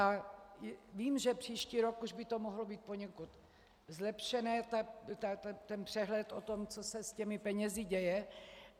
A vím, že příští rok už by to mohlo být poněkud zlepšené, ten přehled o tom, co se s těmi penězi děje.